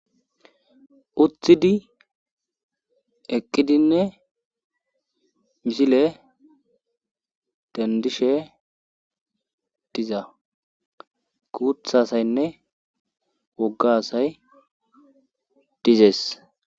Utidi eqqidinne misile dandishe diza kuuthasaynne woggasay dizees